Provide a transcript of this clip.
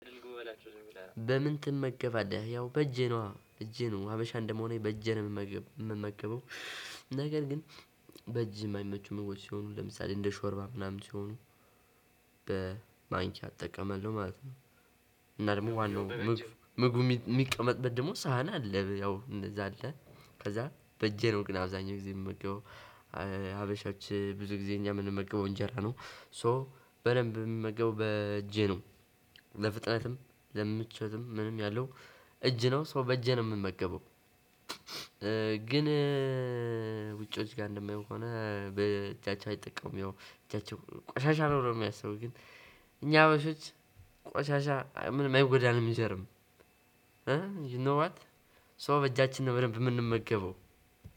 ጎበዳቸው ዝምብለህ በምን ትመገባለህ ያው በእጄ ነው እጄ ነው ሀበሻ እንደምሆነ በእጄ ነው የምመገበው ነገር ግን በእጅ የማይመቹ ምግቦች ሲሆኑ ለምሳሌ እንደ ሾርባ ምናምን ሲሆኑ በማንኪያ እጠቀመለሁ ማለት ነው። እና ደግሞ ዋናው ምግብ ምግብ የሚቀመጥበት ደግሞ ሳህን አለ ያው እንደዛ አለ ከዛ በእጄ ነው ግን አብዛኛው ጊዜ የምመገበው። ሀበሾች ብዙ ጊዜ እኛ የምንመገበው እንጀራ ነው ሶ በደንብ የምመገበው በእጄ ነው። ለፍጥነትም ለምቾትም ምንም ያለው እጅ ነው ሰው በእጄ ነው የምመገበው። ግን ውጪዎች ጋር እንደማየው ከሆን በእጃቸው አይጠቀሙም ያው እጃቸው ቆሻሻ ነው ብለው ነው የሚያስቡ ግን። እኛ በፊት ቆሻሻ ምንም አይጎዳም ጅርም። ዩ ኖ ዋት ሰው በእጃችን ነው በደንብ የምንመገበው።